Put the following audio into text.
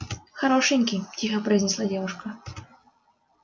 хорошенький тихо произнесла девушка